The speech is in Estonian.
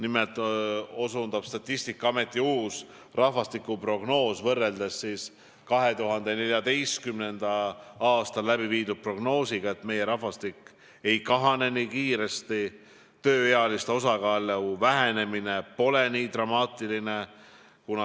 Nimelt selgub Statistikaameti uuest rahvastikuprognoosist võrreldes 2014. aasta prognoosiga, et meie rahvastik ei kahane nii kiiresti ja tööealiste osakaalu vähenemine pole nii dramaatiline.